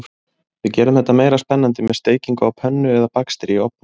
Við gerum þetta meira spennandi með steikingu á pönnu eða bakstri í ofni.